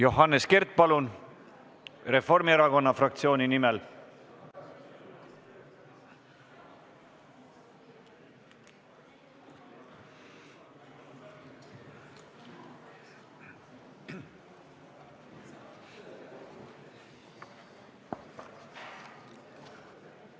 Johannes Kert Reformierakonna fraktsiooni nimel, palun!